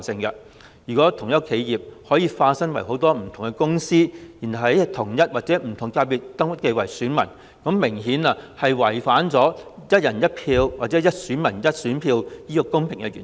如果同一間企業可以化身為多間不同的公司，然後再在同一或不同界別登記為選民，明顯就是違反了"一人一票"或"一選民一選票"的公平原則。